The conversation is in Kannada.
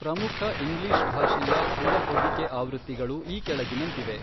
ಪ್ರಮುಖ ಇಂಗ್ಲೀಷ್ ಭಾಷೆಯ ದೃಢಹೊದಿಕೆ ಆವೃತ್ತಿಗಳು ಈ ಕೆಳಗಿನಂತಿವೆ